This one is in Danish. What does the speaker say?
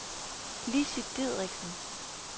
Lissy Dideriksen